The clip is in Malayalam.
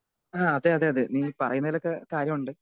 സ്പീക്കർ 2 ആ അതെ അതെ അതെ നീ ഈ പറയുന്നതിലൊക്കെ കാര്യമുണ്ട്.